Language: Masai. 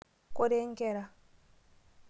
Koree nkera?